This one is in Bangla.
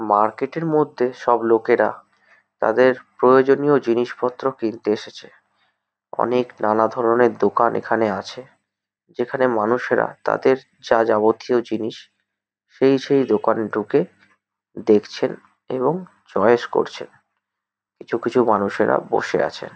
মার্কেট -এর মধ্যে সব লোকেরা তাদের প্রয়োজনীয় জিনিসপত্র কিনতে এসেছে । অনেক নানাধরণের দোকান এখানে আছে। যেখানে মানুষেরা তাদের যা যাবতীয় জিনিস সেই সেই দোকানে ঢুকে দেখছেন এবং চয়েস করছেন। কিছু কিছু মানুষেরা বসে আছেন।